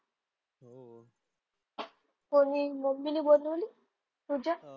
कोणी मम्मीने बनवली तुझ्या?